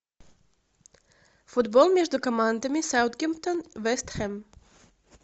футбол между командами саутгемптон вест хэм